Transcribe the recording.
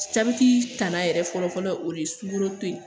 yɛrɛ fɔlɔ fɔlɔ o de ye sunkalo ye